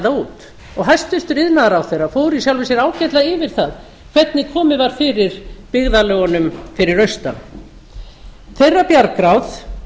út hæstvirtur iðnaðarráðherra fór í sjálfu sér ágætlega yfir það hvernig komið var fyrir byggðarlögunum fyrir austan þeirra bjargráð